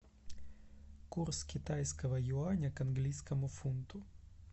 курс китайского юаня к английскому фунту